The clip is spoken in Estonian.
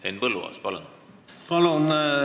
Henn Põlluaas, palun!